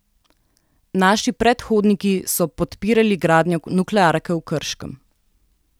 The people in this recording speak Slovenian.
Naši predhodniki so podpirali gradnjo nuklearke v Krškem.